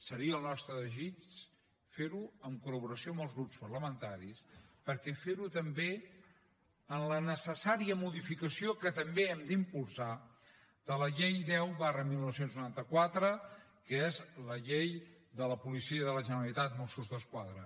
seria el nostre desig fer ho en col·laboració amb els grups parlamentaris per fer també la necessària modificació que hem d’impulsar de la llei deu dinou noranta quatre que és la llei de la policia de la generalitat mossos d’esquadra